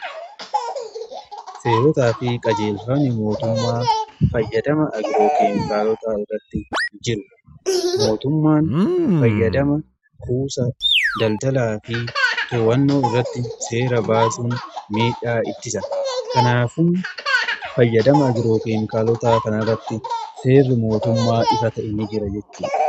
seerotaa fi qajeelfamni mootummaa itti fayyadama agiroo keemikaalotaa irratti ni jira. mootummaan fayyadama kuusaa, daldalaa fi to'annoo irratti seera baasuun miidhaa ittisa. kanaafuu fayyadama agiroo keemikaalotaa kanaa irratti seerri mootummaa ifa ta'e ni jira jechuudha.